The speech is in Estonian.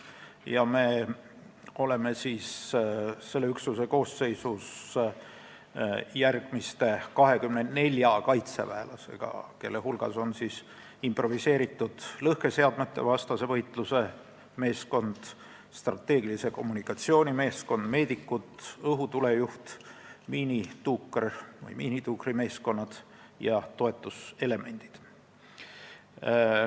Me oleme selle üksuse koosseisus 24 kaitseväelasega, kelle hulgas on improviseeritud lõhkeseadmete vastase võitluse meeskond, strateegilise kommunikatsiooni meeskond, meedikud, õhutulejuht, miinituukrimeeskond ja toetuselement.